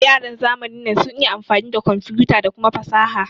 Yaran zamanin nan sun iya amfani da komfuta da kuma fasaha